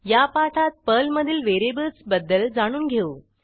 या पाठात पर्लमधील व्हेरिएबल्स बद्दल जाणून घेऊ